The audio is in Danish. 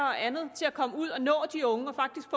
og andet til at komme ud og nå de unge og faktisk